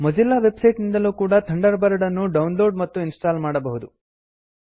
Mozilla website ನಿಂದಲೂ ಕೂಡ Thunderbird ಅನ್ನು ಡೌನ್ಲೋಡ್ ಮತ್ತು ಇನ್ಸ್ಟಾಲ್ ಮಾಡಬಹುದು